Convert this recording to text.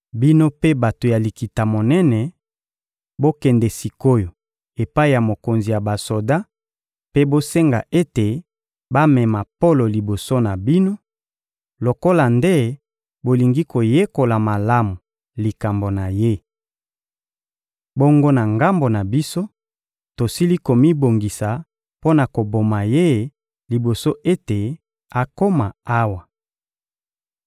Bino mpe bato ya Likita-Monene, bokende sik’oyo epai ya mokonzi ya basoda mpe bosenga ete bamema Polo liboso na bino, lokola nde bolingi koyekola malamu likambo na ye. Bongo na ngambo na biso, tosili komibongisa mpo na koboma ye liboso ete akoma awa.